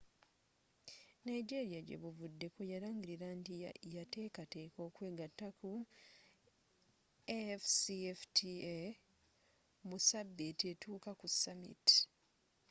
nigeria gye buvuddeko yalangirira nti yatekateka okwegatta ku afcfta mu sabiiti etuuka ku summit